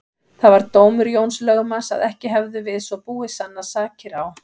Það var dómur Jóns lögmanns að ekki hefðu við svo búið sannast sakir á